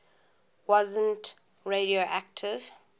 wasn t radioactive